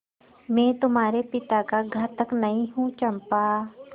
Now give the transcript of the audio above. मैं तुम्हारे पिता का घातक नहीं हूँ चंपा